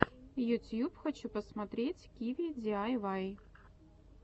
ютьюб хочу посмотреть киви диайвай